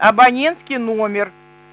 абонентский номер